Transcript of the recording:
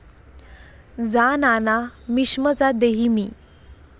जा नाना मिक्ष्म चा देही मी.'